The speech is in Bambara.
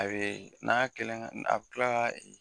A bɛ, n'a kɛlen , a bɛ kila k'a